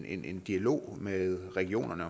en dialog med regionerne